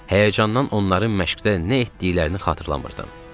Həyəcandan onların məşqdə nə etdiklərini xatırlamırdım.